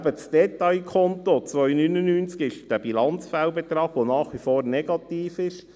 Aber das Detailkonto 299 betrifft den Bilanzfehlbetrag, der nach wie vor negativ ist.